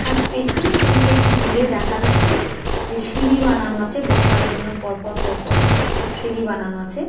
আর পেছনের দিকে একটু দূরে দেখা যাচ্ছে যে সিঁড়ি বানানো আছে বসার জন্য পরপর পরপর সব সিঁড়ি বানানো আছে।